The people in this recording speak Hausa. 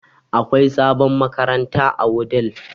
Akwai sabon makaranta a Wudil